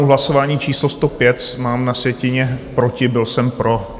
U hlasování číslo 105 mám na sjetině proti, byl jsem pro.